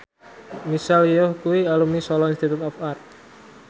Michelle Yeoh kuwi alumni Solo Institute of Art